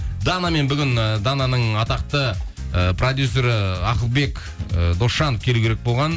данамен бүгін ііі дананың атақты ыыы продюсері ы ақылбек ы досжанов келу керек болған